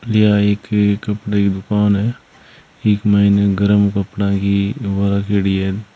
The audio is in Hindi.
या एक कपड़े की दुकान है इक माइन गरम कपड़ा की डी है।